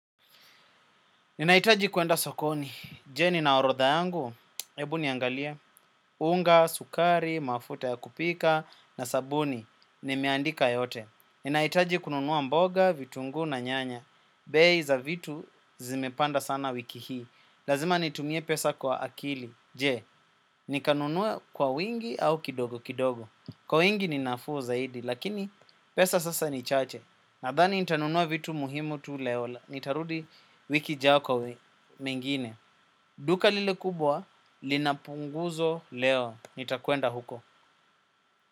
Ninahitaji kuenda sokoni, je, nina orotha yangu? Ebu niangalie, unga, sukari, mafuta ya kupika, na sabuni, nimeandika yote. Ninahitaji kununua mboga, vitunguu na nyanya. Bei za vitu zimepanda sana wiki hii, lazima nitumie pesa kwa akili. Je, nikanunua kwa wingi au kidogo kidogo? Kwa wingi ni nafuu zaidi, lakini pesa sasa ni chache. Nadhani nitanunua vitu muhimu tu leo. Nitarudi wiki ijayo kwa mengine. Duka lile kubwa, lina punguzo leo. Nitakwenda huko.